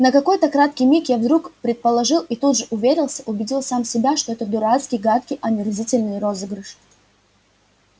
на какой-то краткий миг я вдруг предположил и тут же уверился убедил сам себя что это дурацкий гадкий омерзительный розыгрыш